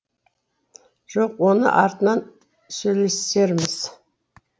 жоқ оны артынан сөйлесерміз